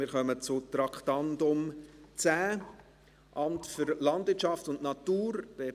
Wir kommen zum Traktandum 10, Amt für Landwirtschaft und Natur (LANAT).